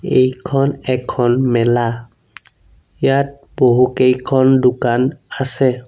এইখন এখন মেলা ইয়াত বহুকেইখন দোকান আছে।